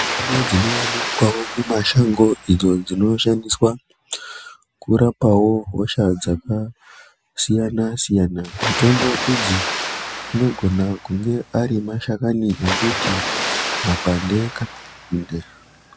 Mutombo dzino wanikwao mumashango idzo dzinoshandiswa kurapa wo hosha dzakasiyana siyana mitombo idzi dzinogona kunge ari mashakani embiti mapande kana nzinde.